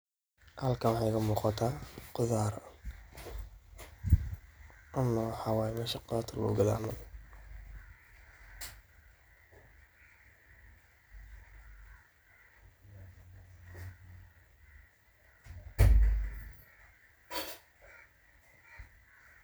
halkan waxa iga muqataa khudaar camal waxaa waye muqataa ,esha khudaarta lagu gado.